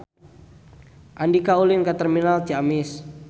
Andika ulin ka Terminal Ciamis